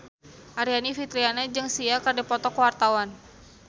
Aryani Fitriana jeung Sia keur dipoto ku wartawan